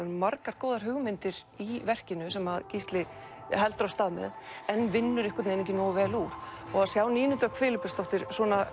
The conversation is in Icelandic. margar góðar hugmyndir í verkinu sem Gísli heldur af stað með en vinnur einhvern veginn ekki nógu vel úr og sjá Nínu Dögg Filippusdóttir